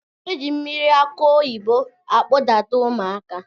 Eji mmiri akụ oyibo akpụ Dada ụmụaka